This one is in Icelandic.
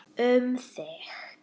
Um þig.